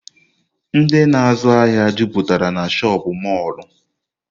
Ndị na azụ ahịa jụputara n'shopịn mọrlụ.